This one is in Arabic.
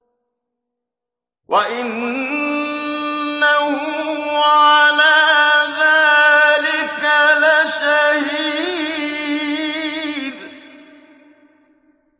وَإِنَّهُ عَلَىٰ ذَٰلِكَ لَشَهِيدٌ